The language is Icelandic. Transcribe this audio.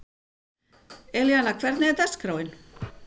Elíanna, hvernig er dagskráin?